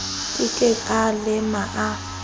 ke ke a lema a